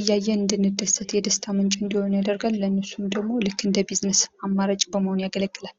እያየን እንድንደሰት የደስታ ምንጭ እንዲሆን ያደርጋል። ለእነሱም ደግሞ ልክ እንደ ቢዝነስ የቢዝነስ አማራጭ በመሆን ያገለግላል።